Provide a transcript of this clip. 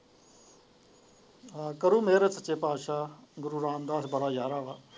ਹਾਂ ਕਰੋ ਮਹਿਰਤ ਸੱਚੇ ਪਾਤਸ਼ਾਹ ਗੁਰੂ ਰਾਮਦਾਸ ਬੜਾ ਯਾਰਾ ਵਾ।